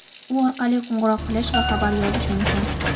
U orqali qo‘ng‘iroq qilish va xabar yozish mumkin.